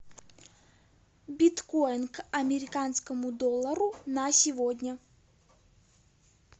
биткоин к американскому доллару на сегодня